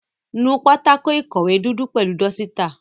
Nú pátákó ìkọ̀wé dúdú pẹ̀lú dọ́sítà.